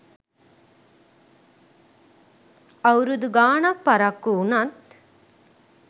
අවුරුද ගාණක් පරක්කු වුණත්